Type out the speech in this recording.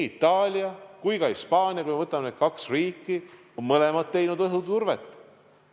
Itaalia ja ka Hispaania, kui me võtame need kaks riiki, on mõlemad teinud õhuturvet.